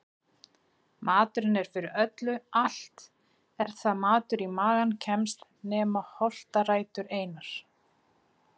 Maturinn er fyrir öllu allt er það matur í magann kemst nema holtarætur einar.